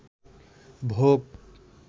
ভোগ